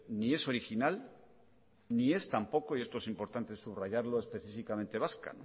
ni es original ni es tampoco y esto es importante subrayado específicamente vasca